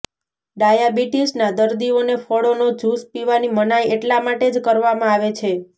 ડાયાબિટીસના દરદીઓને ફળોનો જૂસ પીવાની મનાઈ એટલા માટે જ કરવામાં આવે છે